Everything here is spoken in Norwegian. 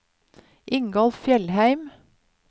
Ingolf Fjellheim